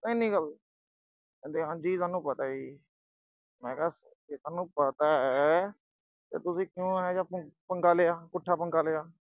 ਪਤਾ ਐਨੀ ਗੱਲ ਓਏ। ਕਹਿੰਦੇ ਹਾਂ ਜੀ ਸਾਨੂੰ ਪਤਾ ਜੀ। ਮੈਂ ਕਿਆ, ਜੇ ਸੋਨੂੰ ਪਤਾ ਅਹ ਤਾਂ ਤੁਸੀਂ ਕਿਉਂ ਇਹੋ ਜਾ ਪੰਗ ਅਹ ਪੰਗਾ ਲਿਆ, ਪੁੱਠਾ ਪੰਗਾ ਲਿਆ।